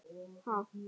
Ha?!